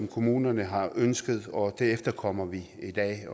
kommunerne har ønsket og det efterkommer vi i dag